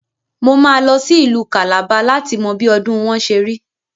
Mo máa lọ sí Ìlú Kàlàba láti mọ bí ọdùn wọn ṣerí.